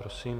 Prosím.